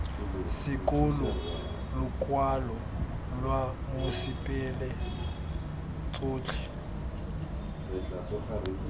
sekolo lokwalo lwa mosepele tsotlhe